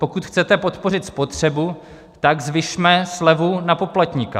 Pokud chcete podpořit spotřebu, tak zvyšme slevu na poplatníka.